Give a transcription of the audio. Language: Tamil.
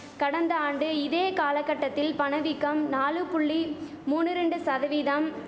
கடந்த ஆண்டு இதே காலகட்டத்தில் பணவீக்கம் நாலு புள்ளி மூனு ரெண்டு சதவீதம்